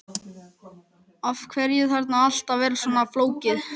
Af hverju þarf allt að vera svona flókið?